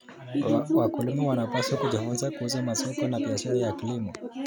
Wakulima wanapaswa kujifunza kuhusu masoko na biashara ya kilimo.